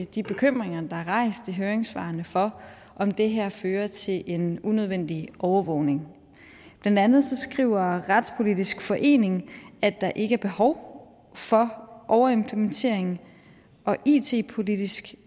de bekymringer der er rejst i høringssvarene for om det her fører til en unødvendig overvågning blandt andet skriver retspolitisk forening at der ikke er behov for overimplementering og it politisk